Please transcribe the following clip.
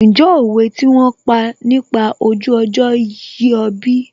Ǹjẹ́ òwe tí wón sọ nípa ojú ọjọ́ yé ọ bí?